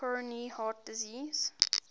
coronary heart disease